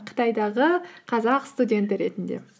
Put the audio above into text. қытайдағы қазақ студенті ретінде